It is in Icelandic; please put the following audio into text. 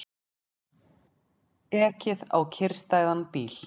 Ekið á kyrrstæðan bíl